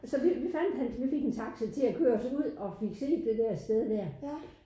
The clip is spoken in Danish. Så vi vi fandt hans vi fik en taxa til at køre os ud og fik set det der sted dér